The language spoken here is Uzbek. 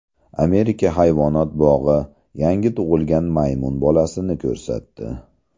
Amerika hayvonot bog‘i yangi tug‘ilgan maymun bolasini ko‘rsatdi .